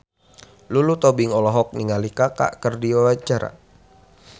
Lulu Tobing olohok ningali Kaka keur diwawancara